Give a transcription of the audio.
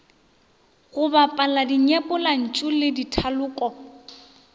go bapala dinyepollantšu le dithaloko